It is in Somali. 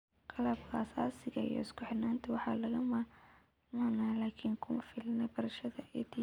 Qalabka aasaasiga ah iyo isku xirnaanta waa lagama maarmaan laakiin kuma filna barashada EdTech.